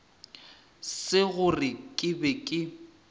se gore ke be ke